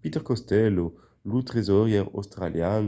peter costello lo tresaurièr australian